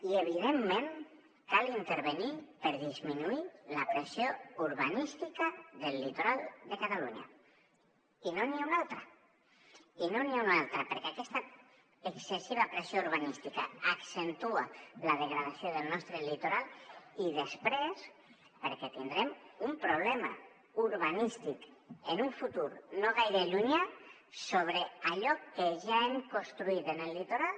i evidentment cal intervenir hi per disminuir la pressió urbanística del litoral de catalunya i no hi ha cap més opció perquè aquesta excessiva pressió urbanística accentua la degradació del nostre litoral i després perquè tindrem un problema urbanístic en un futur no gaire llunyà sobre allò que ja hem construït en el litoral